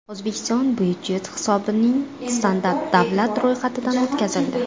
O‘zbekiston budjet hisobining standarti davlat ro‘yxatidan o‘tkazildi.